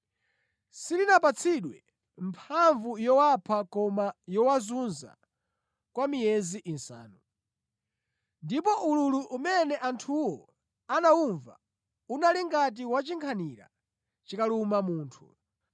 Silinapatsidwe mphamvu yowapha koma yowazunza kwa miyezi isanu. Ndipo ululu umene anthuwo anawumva unali ngati wa chinkhanira chikaluma munthu.